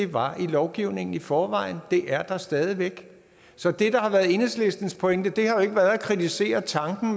var i lovgivningen i forvejen og det er der stadig væk så det der har været enhedslistens pointe har jo ikke været at kritisere tanken